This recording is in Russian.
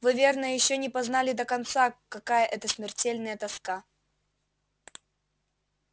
вы верно ещё не познали до конца какая это смертельная тоска